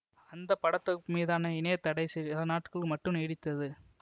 அந்த பட தொகுப்பு மீதான இணைய தடை சிலநாட்களுக்கு மட்டும் நீடித்தது